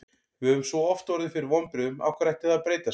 Við höfum svo oft orðið fyrir vonbrigðum, af hverju ætti það að breytast?